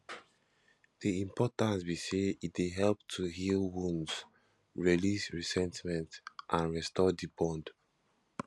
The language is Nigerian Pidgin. di importance be say e dey help to heal wounds release resentment and restore di bond